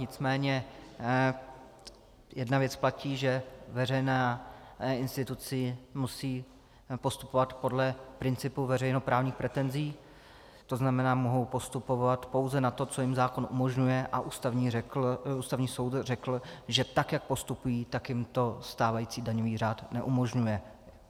Nicméně jedna věc platí, že veřejné instituce musejí postupovat podle principu veřejnoprávních pretenzí, to znamená, mohou postupovat pouze na to, co jim zákon umožňuje, a Ústavní soud řekl, že tak jak postupují, tak jim to stávající daňový řád neumožňuje.